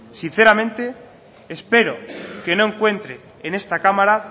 sinceramente espero que no encuentre en esta cámara